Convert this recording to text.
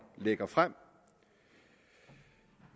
lægger frem